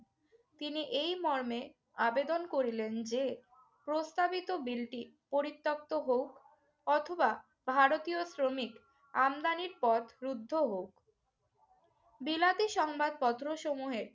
তিনি এই মর্মে আবেদন করিলেন যে, প্রস্তাবিত বিলটি পরিত্যাক্ত হউক অথবা ভারতীয় শ্রমিক আমদানির পথ রুদ্ধ হউক। বিলাতি সংবাদপত্রসমূহে